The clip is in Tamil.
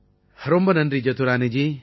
ரொம்ப நன்றி ஜதுரானீஜி